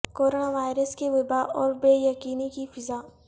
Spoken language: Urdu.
کرونا وائرس کی وبا اور بے یقینی کی فضا